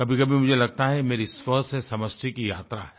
कभीकभी मुझे ये लगता है कि ये मेरी स्व से समष्टि की यात्रा है